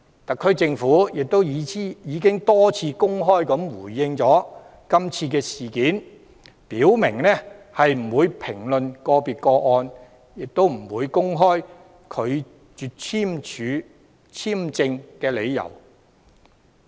特區政府亦已多次公開回應，表明不會評論個別個案，亦不會公開拒絕簽證的理由。